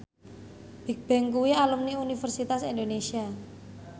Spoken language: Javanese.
Bigbang kuwi alumni Universitas Indonesia